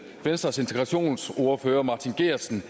venstres integrationsordfører martin geertsen